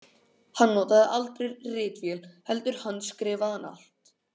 Hann notaði aldrei ritvél heldur handskrifaði allt.